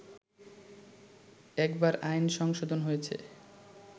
একবার আইন সংশোধন হয়েছে